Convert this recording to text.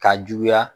K'a juguya